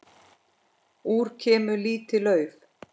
Út kemur lítið lauf.